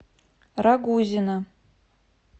рагузина